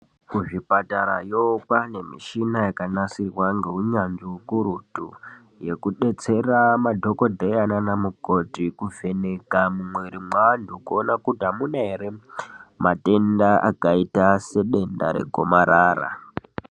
Kuzvipatarayo kwane michina yakanasirwa ngeunyanzvi hukurutu yekudetsera madhokodheya nanamukoti, kuvheneka mumumwiri mweanhu kuona kuti hamuna here matenda akaita sedenda regomarara.